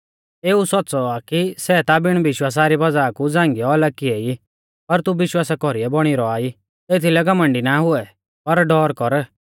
इयौ सौच़्च़ौ आ कि सै ता बिण विश्वासा री वज़ाह कु छांगीयौ अलग किऐ ई पर तू विश्वासा कौरीयौ बौणी रौआ ई एथीलै घमण्डी ना हुऐ पर डौर कर